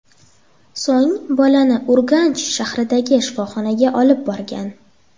So‘ng bolani Urganch shahridagi shifoxonaga olib borgan.